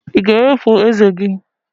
Ị ga-ewepụ ezé gị?